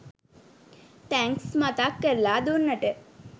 thanks මතක් කරලා දුන්නට